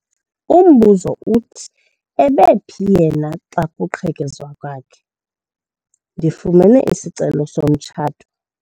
Umbuzo uthi ebephi yena xa kuqhekezwa kwakhe? ndifumene isicelo somtshato